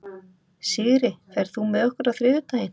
Sigri, ferð þú með okkur á þriðjudaginn?